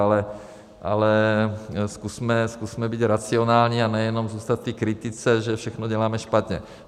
Ale zkusme být racionální a nejenom zůstat v kritice, že všechno děláme špatně.